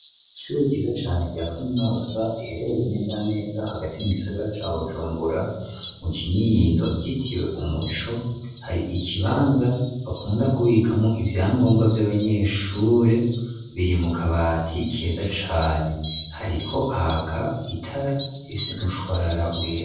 Icure ryiza cane rya kaminoza iherereye neza neza hagati mu gisogara ca wujumbura mu kinindo ryitiwe umuco hari ikibanza bakunda kubikamwo ivyangombwa vy'abanyeshure biri mu kabati keza cane hariko haka itara efse mushwarara we.